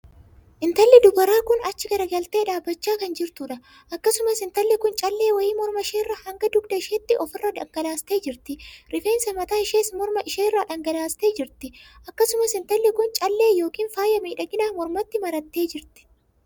Intalli dubaraa kun achi garagaltee dhaabbachaa kan jirtuudha. akkasumas intalli kun callee wayii mormaa ishee irraa hanga dugda isheetti of irra dhangalaastee jirti. rifeensa mataa ishees mormaa ishee irra dhangalaastee jirti. akkasumas intalli kun callee ykn faaya miidhaginaa mormatti marattee jirti.